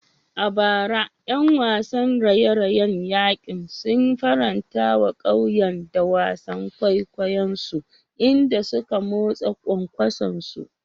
A bara, ƴan wasan raye-rayen yankin sun faranta wa ƙauyen da wasan kwaikwayonsu, inda suka motsa kwankwasonsu.